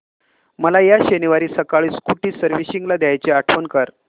मला या शनिवारी सकाळी स्कूटी सर्व्हिसिंगला द्यायची आठवण कर